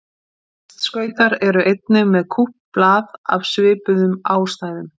Listskautar eru einnig með kúpt blað af svipuðum ástæðum.